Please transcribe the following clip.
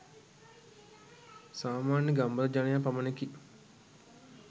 සාමාන්‍ය ගම්බද ජනයා පමණකි.